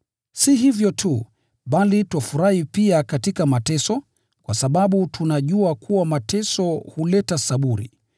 Si hivyo tu, bali twafurahi pia katika mateso, kwa sababu tunajua kuwa mateso huleta saburi,